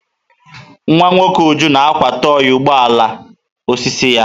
Nwa nwoke Uju na-akwa tọị ugbo ala osisi ya.